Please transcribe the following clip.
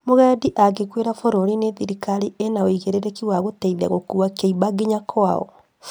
Mũgendi angĩkuĩra bũrũri-inĩ thirikari ĩna ũigĩrĩrĩki wa gũteithia gũkua kĩimba nginya kwao